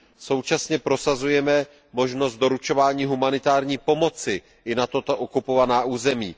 Současně prosazujeme možnost doručování humanitární pomoci i na tato okupovaná území.